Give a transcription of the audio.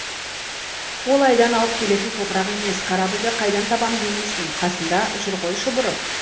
ол айдан алып келетін топырақ емес корабльді қайдан табам демейсің қасында жүр ғой шұбырып